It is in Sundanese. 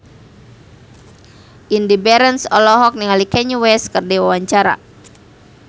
Indy Barens olohok ningali Kanye West keur diwawancara